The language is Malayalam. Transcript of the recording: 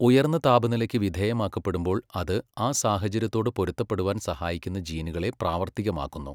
ഉയർന്ന താപനിലയ്ക്ക് വിധേയമാക്കപ്പെടുമ്പോൾ അത് ആ സാഹചര്യത്തോട് പൊരുത്തപ്പെടുവാൻ സഹായിക്കുന്ന ജീനുകളെ പ്രാവർത്തികമാക്കുന്നു.